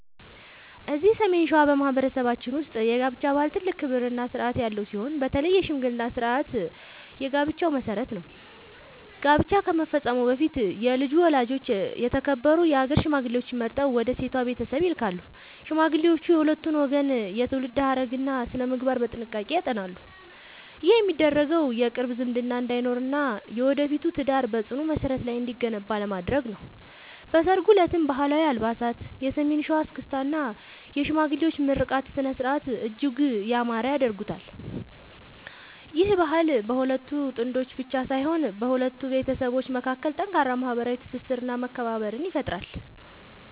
እዚህ ሰሜን ሸዋ በማኅበረሰባችን ውስጥ የጋብቻ ባህል ትልቅ ክብርና ሥርዓት ያለው ሲሆን፣ በተለይ የሽምግልና ሥርዓት የጋብቻው መሠረት ነው። ጋብቻ ከመፈጸሙ በፊት የልጁ ወላጆች የተከበሩ የአገር ሽማግሌዎችን መርጠው ወደ ሴቷ ቤተሰብ ይልካሉ። ሽማግሌዎቹ የሁለቱን ወገን የትውልድ ሐረግና ሥነ-ምግባር በጥንቃቄ ያጠናሉ። ይህ የሚደረገው የቅርብ ዝምድና እንዳይኖርና የወደፊቱ ትዳር በጽኑ መሠረት ላይ እንዲገነባ ለማድረግ ነው። በሠርጉ ዕለትም ባህላዊ አልባሳት፣ የሰሜን ሸዋ እስክስታ እና የሽማግሌዎች ምርቃት ሥነ-ሥርዓቱን እጅግ ያማረ ያደርጉታል። ይህ ባህል በሁለት ጥንዶች ብቻ ሳይሆን በሁለት ቤተሰቦች መካከል ጠንካራ ማኅበራዊ ትስስርና መከባበርን ይፈጥራል።